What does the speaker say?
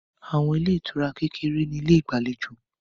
Àwọn ilé ìtura kékeré ní ilé ìgbàlejò